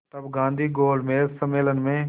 तब गांधी गोलमेज सम्मेलन में